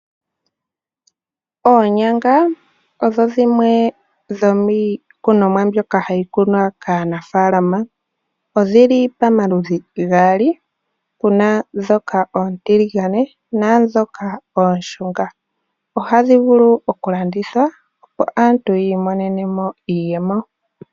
Oonyanga odho dhimwe dhomiikunomwa mbyoka hayi kunwa kaanafaalama. Odhi li pamaludhi gaali, pu na ndhoka oontiligane naandhoka ooshunga. Ohadhi vulu okulandithwa, opo aantu yi imonene mo iiyemo.